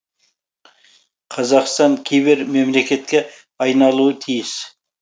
қазақстан кибер мемлекетке айналуы тиіс